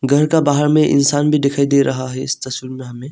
घर का बाहर में इंसान भी दिखाई दे रहा है इस तस्वीर में हमें।